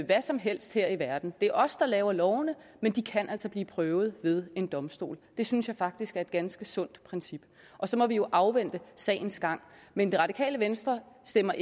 hvad som helst her i verden det er os der laver lovene men de kan altså blive prøvet ved en domstol det synes jeg faktisk er et ganske sundt princip og så må vi jo afvente sagens gang men det radikale venstre stemmer